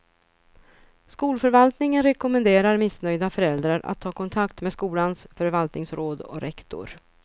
Skolförvaltningen rekommenderar missnöjda föräldrar att ta kontakt med skolans förvaltningsråd och rektor.